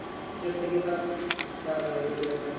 ਜਿੱਤ ਗਏ ਤਾਂ ਕਰ ਲਵਾਂਗੇ ਫਿਰ ਜਦੋਂ ਤਾਂ।